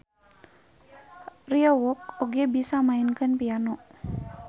Ryeowook oge bisa maenkeun piano.